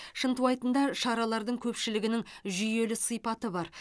шынтуайтында шаралардың көпшілігінің жүйелі сипаты бар